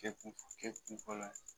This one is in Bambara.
Kɛ kun fɔlɔ ye